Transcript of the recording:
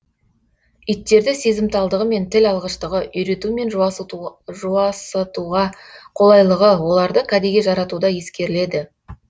иттерді сезімталдығы мен тіл алғыштығы үйрету мен жуасытуға қолайлылығы оларды кәдеге жаратуда ескеріледі